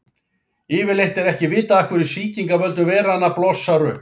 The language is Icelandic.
Yfirleitt er ekki vitað af hverju sýking af völdum veiranna blossar upp.